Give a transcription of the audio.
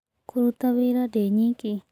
Kũruta wĩra ndĩ nyiki